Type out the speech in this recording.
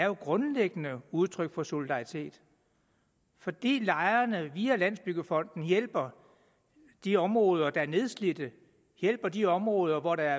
jo grundlæggende er udtryk for solidaritet fordi lejerne via landsbyggefonden hjælper de områder der er nedslidte hjælper de områder hvor der